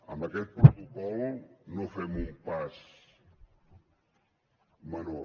amb aquest protocol no fem un pas menor